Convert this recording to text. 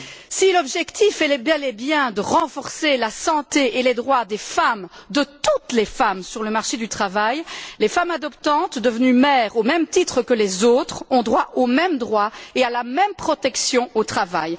Si l'objectif est bel et bien de renforcer la santé et les droits des femmes, de toutes les femmes, sur le marché du travail, les femmes adoptantes devenues mères, au même titre que les autres, ont droit aux mêmes droits et à la même protection au travail.